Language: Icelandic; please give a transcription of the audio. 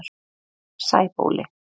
Sæbóli